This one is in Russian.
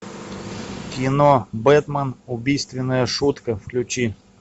кино бэтмен убийственная шутка включи